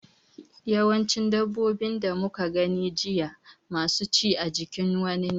Yawancin dabbobin da muka gani jiya masu ci a jikin wani ne.